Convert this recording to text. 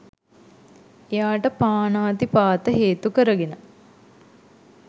එයාට පාණාතිපාත හේතු කරගෙන